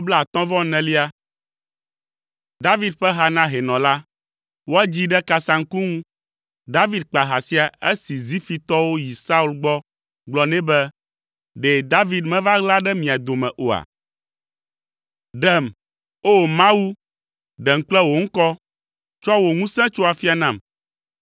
David ƒe ha na hɛnɔ la. Woadzii ɖe kasaŋku ŋu. David kpa ha sia esi Zifitɔwo yi Saul gbɔ gblɔ nɛ be, “Ɖe David meva ɣla ɖe mía dome oa?” Ɖem, O! Mawu, ɖem kple wò ŋkɔ, tsɔ wò ŋusẽ tso afia nam.